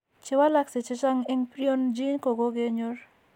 Che walakse chechang' eng' prion gene ko kokenyor.